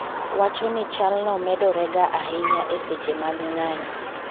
wacho ni chal no medore ga ahinya eseche mag ng'anyo